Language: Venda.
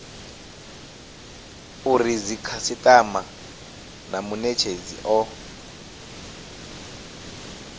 uri dzikhasitama na munetshedzi o